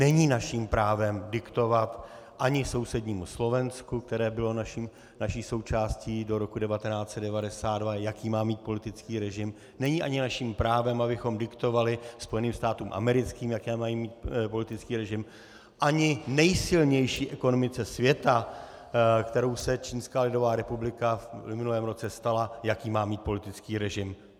Není naším právem diktovat ani sousednímu Slovensku, které bylo naší součástí do roku 1992, jaký má mít politický režim, není ani naším právem, abychom diktovali Spojeným státům americkým, jaký mají mít politický režim, ani nejsilnější ekonomice světa, kterou se Čínská lidová republika v minulém roce stala, jaký má mít politický režim.